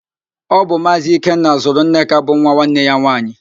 Ọ bu Maazị Ikenna zụrụ Nneka bụ nwa nwanne ya nwaanyị